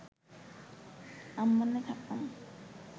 আম্মানে থাকতাম